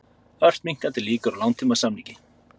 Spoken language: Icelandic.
Ört minnkandi líkur á langtímasamningi